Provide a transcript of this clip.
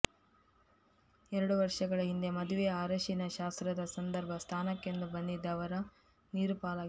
ಎರಡು ವರ್ಷಗಳ ಹಿಂದೆ ಮದುವೆಯ ಅರಶಿನ ಶಾಸ್ತ್ರದ ಸಂದರ್ಭ ಸ್ನಾನಕ್ಕೆಂದು ಬಂದಿದ್ದ ವರ ನೀರುಪಾಲಾಗಿದ್ದರು